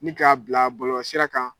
Ni k'a bila bɔlɔlɔsira kan